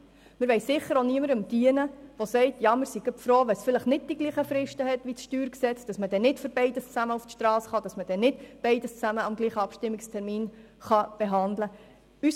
Wir wollen sicher auch niemandem dienen, der sagt: «Wir sind froh, wenn es vielleicht nicht dieselben Fristen hat wie das Steuergesetz, weil man dann nicht für beides zusammen auf die Strasse gehen und nicht beides zusammen am selben Abstimmungstermin behandeln kann.